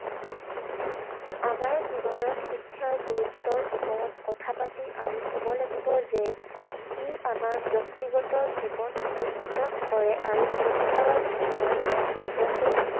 আমাৰ জীৱনত শিক্ষাৰ গুৰুত্বৰ ওপৰত কথা পাতি আমি কব লাগিব যে ই আমাৰ ব্যক্তিগত জীৱন উন্নত কৰে আৰু ক্ষতিকাৰক ঘটনাৰ পৰা নিজকে